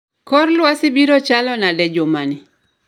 Kor lwasi biro chalo nade jumani